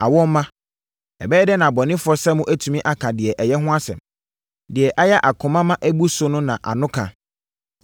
Awɔ mma! Ɛbɛyɛ dɛn na abɔnefoɔ sɛ mo atumi aka deɛ ɛyɛ ho asɛm? Deɛ ayɛ akoma ma abu so no na ano ka.